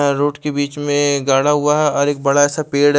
road के बिच में एक घड़ा हुआ है और एक बड़ा सा पेड़ ह--